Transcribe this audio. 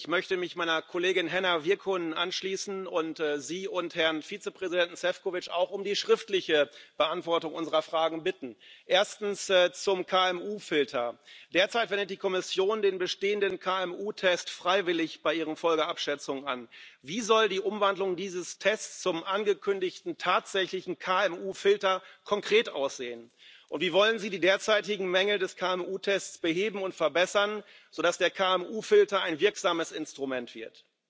Ich möchte mich meiner Kollegin Henna Virkkunen anschließen und Sie und Herrn Vizepräsidenten Šefčovič auch um die schriftliche Beantwortung unserer Fragen bitten. Erstens zum KMU Filter Derzeit wendet die Kommission den bestehenden KMU Test freiwillig bei ihren Folgenabschätzungen an. Wie soll die Umwandlung dieses Tests zum angekündigten tatsächlichen KMU Filter konkret aussehen, und wie wollen Sie die derzeitigen Mängel des KMU Tests beheben und verbessern, sodass der KMU Filter ein wirksames Instrument wird?